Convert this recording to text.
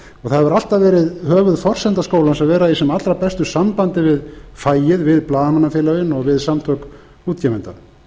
það hefur alltaf verið höfuðforsenda skólans að vera í sem allra bestu sambandi við fagið við blaðamannafélögin og við samtök útgefenda